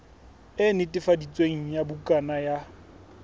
e netefaditsweng ya bukana ya